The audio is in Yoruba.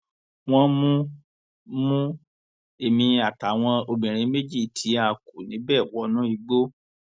wọn mú mú èmi àtàwọn obìnrin méjì tí a kù níbẹ wọnú igbó